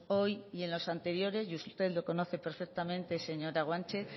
hoy ni en los anteriores y usted lo conoce perfectamente señora guanche